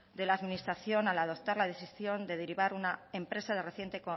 de la administración al adoptar la decisión de derivar una empresa de reciente